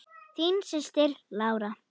Þín systir, Lára.